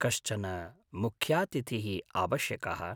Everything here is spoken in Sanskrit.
कश्चन मुख्यातिथिः आवश्यकः।